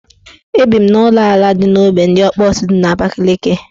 Ebi m n' ụlọala dị n' ogbe ndị Ọkpọsị dị n' Abakaliki